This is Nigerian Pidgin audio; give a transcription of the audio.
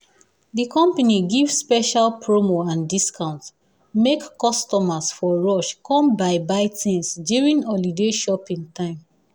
the company give special promo and discount make customers for rush come buy buy things during holiday shopping time